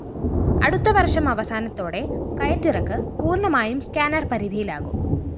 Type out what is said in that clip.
അടുത്ത വര്‍ഷം അവസാനത്തോടെ കയറ്റിറക്ക് പൂര്‍ണമായും സ്കാനർ പരിധിയിലാകും